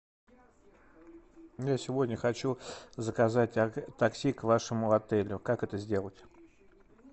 я сегодня хочу заказать такси к вашему отелю как это сделать